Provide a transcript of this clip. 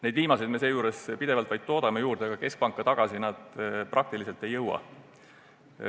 Neid viimaseid toodame pidevalt juurde, aga keskpanka tagasi need peaaegu ei jõuagi.